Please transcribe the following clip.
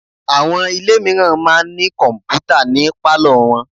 Àwọn ilé mìíràn máa ń ní kọ̀m̀pútà ni pálọ̀ wọn.